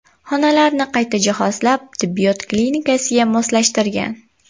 Xonalarni qayta jihozlab, tibbiyot klinikasiga moslashtirgan.